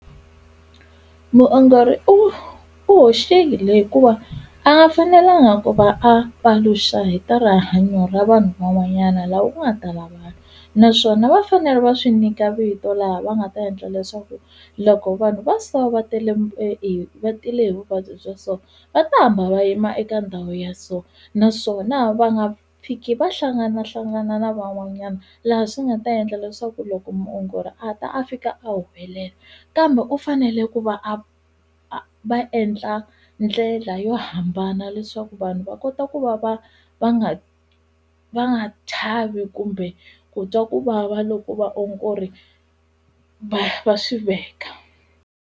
Muongori u u hoxile hikuva a nga fanelanga ku va a paluxa hi ta rihanyo ra vanhu van'wanyana lava u nga ta na vona naswona va fanele va swi nyika vito laha va nga ta endla leswaku loko vanhu va so va tele va tile hi vuvabyi bya so va ta hamba va yima eka ndhawu ya so naswona va nga fiki va hlanganahlangana na van'wanyana laha swi nga ta endla leswaku loko muongori a ta a fika a humelela kambe u fanele ku va va endla ndlela yo hambana leswaku vanhu va kota ku va va va nga va nga chavi kumbe ku twa ku vava loko vaongori va va swi veka.